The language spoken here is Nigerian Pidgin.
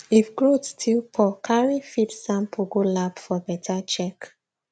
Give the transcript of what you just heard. if growth still poor carry feed sample go lab for better check